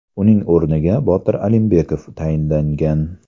Uning o‘rniga Botir Alimbekov tayinlangan.